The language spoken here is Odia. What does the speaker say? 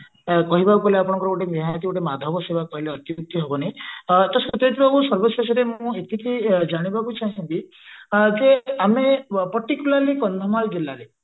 କହିବାକୁ ଗଲେ ଆପଣଙ୍କର ଗୋଟେ ନିହାତି ଗୋଟେ ମାଧବ ସେବା କହିଲେ ଅତ୍ଯୁକ୍ତି ହେବ ନାହିଁ ତ ସତେଶ ବାବୁ ସର୍ବ ଶେଷରେ ମୁଁ ଏତିକି ଜାଣିବାକୁ ଚାହିଁବି ଯେ ଆମେ particularly କନ୍ଧମାଳ ଜିଲ୍ଲାରେ